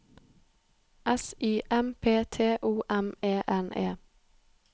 S Y M P T O M E N E